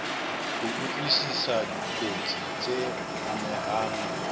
ho utlwisisa dikotsi tse amehang